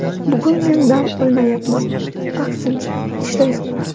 Bugun men dam olmayapman, aksincha, ishlayapman.